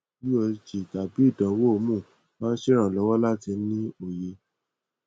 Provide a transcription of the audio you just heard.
usg tabi idanwo hormone ma ṣe iranlọwọ lati ni oye